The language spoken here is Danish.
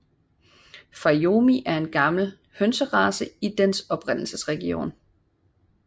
Fayoumi er en meget gammel hønserace i dens oprindelsesregion